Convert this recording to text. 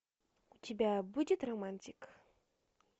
у тебя будет романтик